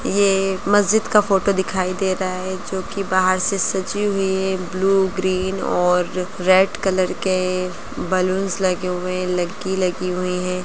ये एक मस्जिद का फोटो दिखाई दे रहा है जोकि बाहर से सजी हुई है | ब्लू ग्रीन और आ रेड कलर के बैलूंस लगे हुए हैं | लगी हुई है।